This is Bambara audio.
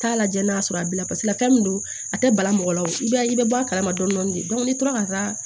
Taa lajɛ n'a y'a sɔrɔ a bi fɛn min don a tɛ bala mɔgɔ la i b'a i bɛ bɔ a kalama dɔɔnin de n'i tora ka taa